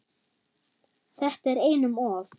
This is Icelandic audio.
Þetta er einum of,